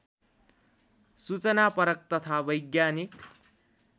सूचनापरक तथा वैज्ञानिक